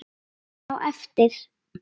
Á eftir?